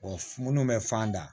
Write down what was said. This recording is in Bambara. minnu bɛ fan da